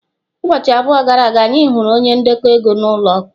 Ụbọchị abụọ gara aga, anyị hụrụ onye ndekọ ego ụlọ akwụkwọ.